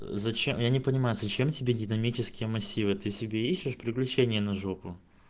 зачем я не понимаю зачем тебе динамические массивы ты себе ищешь приключения на жопу